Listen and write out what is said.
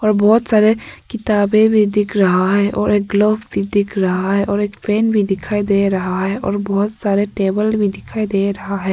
और बहुत सारे किताबें भी दिख रहा है और एक ग्लोब भी दिख रहा है और एक पेन भी दिखाई दे रहा है और बहुत सारे टेबल भी दिखाई दे रहा है।